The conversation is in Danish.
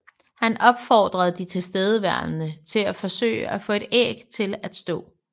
Han opfordrede de tilstedeværende til at forsøge at få et æg til at stå